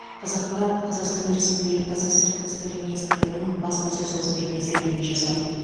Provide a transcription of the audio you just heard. қазақпарат қазақстан республикасы сыртқы істер министрлігінің баспасөз қызметіне сілтеме жасап